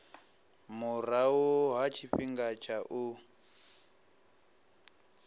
murahu ha tshifhinga tsha u